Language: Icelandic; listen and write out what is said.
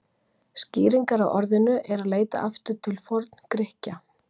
Skýringar á orðinu er að leita aftur til Forngrikkja.